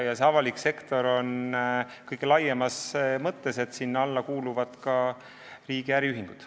Avalik sektor on siin mõeldud kõige laiemas mõttes, sinna alla kuuluvad ka riigi äriühingud.